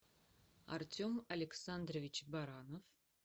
артем александрович баранов